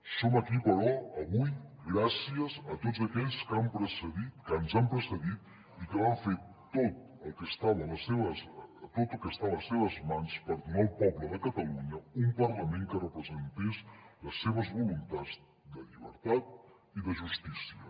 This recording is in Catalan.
som aquí però avui gràcies a tots aquells que ens han precedit i que van fer tot el que estava a les seves mans per donar al poble de catalunya un parlament que representés les seves voluntats de llibertat i de justícia